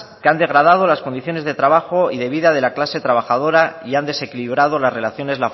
que han degradado las condiciones de trabajo y de vida de la clase trabajadora y han desequilibrado las relaciones